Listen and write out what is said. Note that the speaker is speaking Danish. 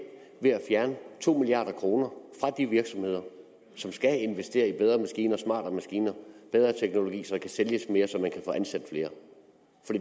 ved at fjerne to milliard kroner fra de virksomheder som skal investere i bedre maskiner smartere maskiner bedre teknologi så der kan sælges mere så man kan få ansat flere